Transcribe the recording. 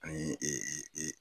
Ani e e e